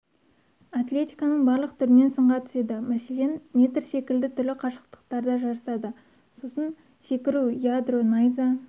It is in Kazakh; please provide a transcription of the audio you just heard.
атлетиканың барлық түрінен сынға түседі мәселен метр секілді түрлі қашықтықтарда жарысады сосын секіру ядро найза